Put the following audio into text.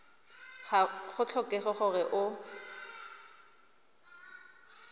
ga go tlhokege gore o